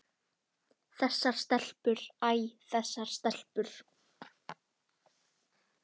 Þessar stelpur, æ þessar stelpur.